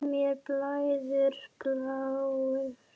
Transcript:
Mér blæðir bláu.